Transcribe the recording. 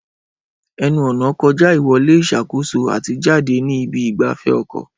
Ẹnu-ọ̀nà kọjá ìwọlé ìṣàkóso àti jáde ní ibi ìgbafẹ́ ọkọ̀.